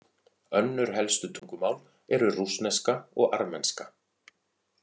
Önnur helstu tungumál eru rússneska og armenska.